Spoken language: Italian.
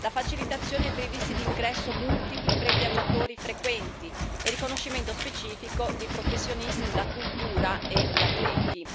la facilitazione per i visti di ingresso multipli per i viaggiatori frequenti e il riconoscimento specifico di professionisti della cultura e gli atleti.